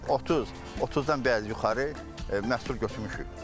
30, 30-dan biraz yuxarı məhsul götürmüşük.